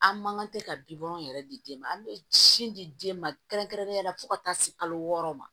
An man kan tɛ ka bilɔn yɛrɛ di den ma an bɛ sin di den ma kɛrɛnkɛrɛnnenya la fo ka taa se kalo wɔɔrɔ ma